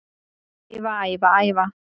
Æfa, æfa, æfa